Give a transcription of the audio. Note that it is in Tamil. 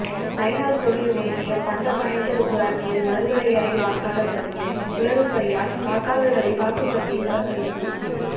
நயினாா்கோவில் ஒன்றியம் பந்தப்பனேந்தல் ஊராட்சியில் மறுவரையரை வாக்காளா் பட்டியல் குளறுபடியால் வாக்காளா்கள் வாக்குப்பதிவை புறக்கணிப்பு